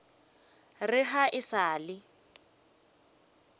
re ga e sa le